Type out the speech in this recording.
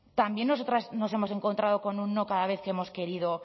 también nosotras nos hemos encontrado con un no cada vez que hemos querido